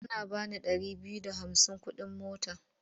Ana ba ni ɗari biyu da hamsin kuɗin mota.